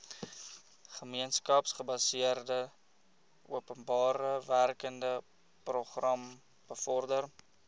gemeenskapsgebaseerde openbarewerkeprogram bevorder